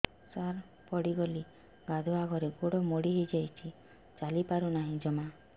ସାର ପଡ଼ିଗଲି ଗାଧୁଆଘରେ ଗୋଡ ମୋଡି ହେଇଯାଇଛି ଚାଲିପାରୁ ନାହିଁ ଜମା